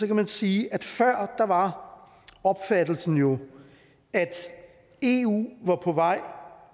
kan man sige at før var opfattelsen jo at eu var på vej